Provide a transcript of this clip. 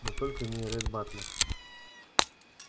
но только не ретт батлер